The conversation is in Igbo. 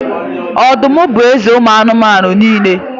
Ọdụm bụ eze ụmụ anụmanụ niile